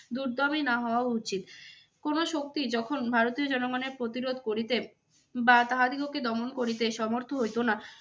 দুর্দমই নাহ হওয়া উচিত। কোনো শক্তি যখন ভারতীয় জনগণের প্রতিরোধ করিতে বা তাহাদিগকে দমন করিতে সমর্থ্য হইতো না